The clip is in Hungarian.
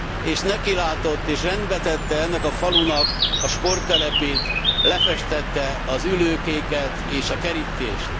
és nekilátott, és rendbe tette ennek a falunak a sporttelepét, lefestette az ülőkéket és a kerítést.